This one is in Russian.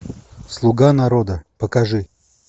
слуга народа покажи